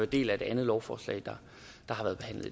del af et andet lovforslag der